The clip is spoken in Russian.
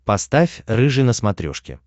поставь рыжий на смотрешке